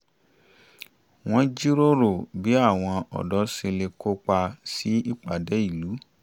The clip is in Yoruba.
wọ́n jíròrò bí àwọn ọ̀dọ́ ṣe lè kópa sí ìpàdé ìlú